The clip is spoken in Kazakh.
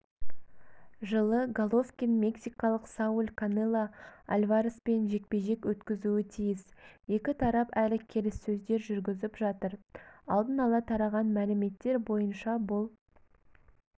жылы головкин мексикалық сауль канело альвареспен жекпе-жек өткізуі тиіс екі тарап әлі келіссөздер жүргізіп жатыр алдын ала тараған мәліметтер бойынша бұл